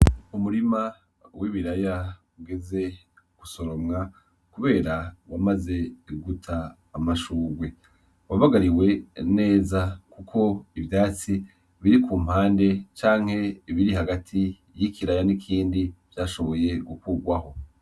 Umurima w'ibiraya ugeze gusoromwa kubera wamaze guta amashurwe, wabagariwe neza kuko ivyatsi biri kumpande; canke ibiri hagati y'ikiraya n'ikindi vyashoboye gukugwaho.